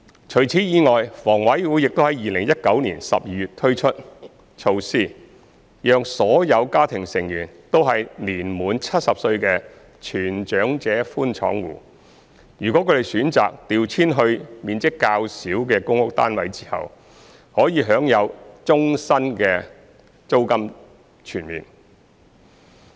除此以外，房委會亦於2019年12月推出措施，讓所有家庭成員均年滿70歲的全長者寬敞戶，如他們選擇調遷至面積較小的公屋單位後，可享有終身租金全免。